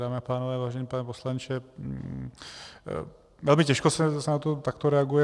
Dámy a pánové, vážený pane poslanče, velmi těžko se na to takto reaguje.